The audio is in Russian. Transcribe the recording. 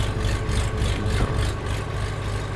интро